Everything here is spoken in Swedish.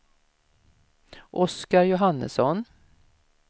Oscar Johannesson